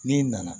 N'i nana